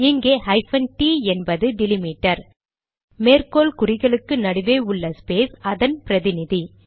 இங்கே hyphen d என்பது delimiter மேற்கோள் குறிகளுக்கு நடுவே உள்ள ஸ்பேஸ் அதன் பிரதிநிதி